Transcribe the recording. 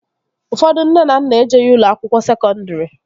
Ụfọdụ nne na nna ejeghi ụlọ akwụkwọ sekọndri